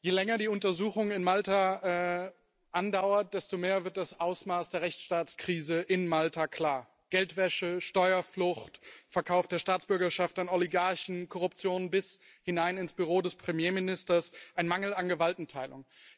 Je länger die Untersuchung in Malta andauert, desto mehr wird das Ausmaß der Rechtsstaatskrise in Malta klar Geldwäsche, Steuerflucht, Verkauf der Staatsbürgerschaft an Oligarchen, Korruption bis hinein ins Büro des Premierministers, ein Mangel an Gewaltenteilung.